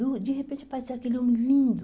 De repente apareceu aquele homem lindo.